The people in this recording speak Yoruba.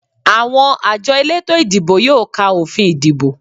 Àwọn àjọ elétò ìdìbò yóò ka òfin ìdìbò